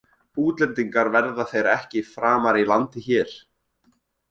Útlendingar verða þeir ekki framar í landi hér.